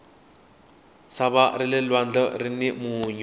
sava rale lwandle rini munyu